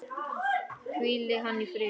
Hvíli hann í friði.